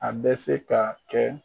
An bɛ se ka kɛ